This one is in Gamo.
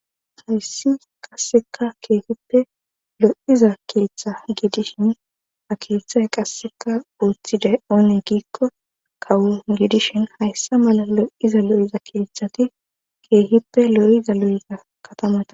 Hayssi qasseka keehippe lo7iza keeththa gidishin ha keeththay qasseka ooththiday oone giikko kawo gidishin hayssa mala lo7iza lo7iza keeththati keehippe lo7iza lo7iza katamata.